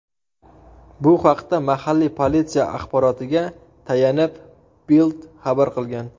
Bu haqda mahalliy politsiya axborotiga tayanib, Bild xabar qilgan .